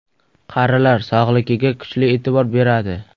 Qarilar sog‘ligiga kuchli e’tibor beradi.